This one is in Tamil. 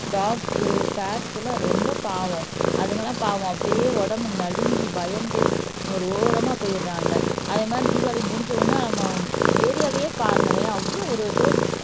டாக்ஸ் பேர்ட்ஸ் எல்லாம் ரொம்ப பாவம் அதுங்கெல்லாம் பாவம் அப்படியே உடம்பு நடுங்கி பயந்து ஒரு ஓரமா போயிடுறாங்க அதே மாதிரி தீபாவளி முடிஞ்ச உடனே ஏரியாவையே பாருங்களேன் அவ்வளவு ஒரு இதோ